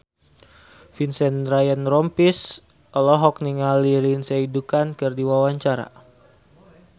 Vincent Ryan Rompies olohok ningali Lindsay Ducan keur diwawancara